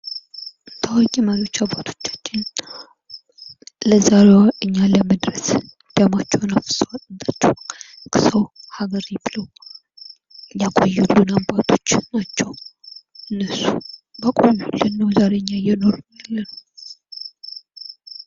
ታዋቂ መሪዎች አባቶቻችን ለዛሬዋ እኛ ለመድረስ ደማቸዉን አፍስሰዋል! አጥንታቸዉን ከስክሰዉ አገሬ ብለዉ ያቆዩን አባቶች ናቸዉ። እነሱ ባቆዩልን ነዉ እኛ እየኖርን ያለን።